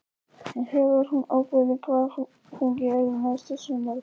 En hefur hún ákveðið hvað hún gerir næsta sumar?